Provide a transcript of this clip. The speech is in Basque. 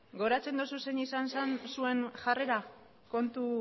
gogoratzen duzu zein izan zen zuen jarrera kontu